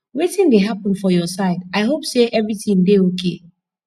wetin dey happen for your side i hope say everything dey okay